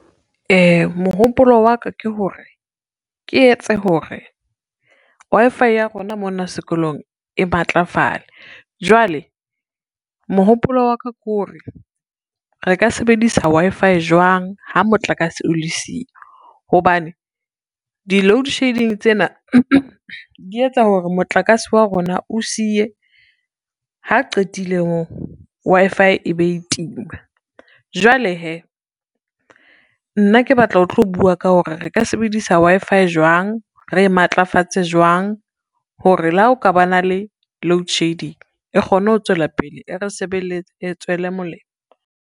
Mohopolo wa ka ke hore, ke etse hore Wi-Fi ya rona mona sekolong e matlafale jwale mohopolo wa ka ke hore, re ka sebedisa Wi-Fi jwang ha motlakase o le siyo, hobane di-load shedding tsena di etsa hore motlakase wa rona o siye ha qetile moo Wi-Fi e be e tima. Jwale hee, nna ke batla ho tlo bua ka hore re ka sebedisa Wi-Fi jwang, re e matlafatse jwang hore le ha o ka ba na le load shedding e kgone ho tswela pele e re sebeletsa e tswele molemo.